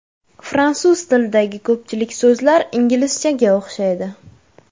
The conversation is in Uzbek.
Fransuz tilidagi ko‘pchilik so‘zlar inglizchaga o‘xshaydi.